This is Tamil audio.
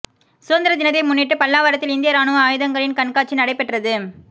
சுதந்திர தினத்தை முன்னிட்டு பல்லாவரத்தில் இந்திய ராணுவ ஆயுதங்களின் கண்காட்சி நடைபெற்றது